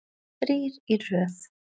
Þrír í röð.